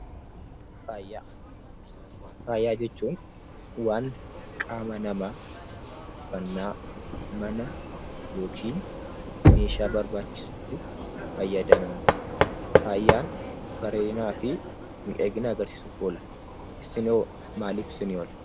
Faayaa Faayaa jechuun waanta qaama namaa uffannaa, mana yookiin meeshaa barbaachisutti fayyadamamu. Faayaan bareedinaa fi miidhaginaa argisiisuuf oola. Isin hoo maaliif isinii oola?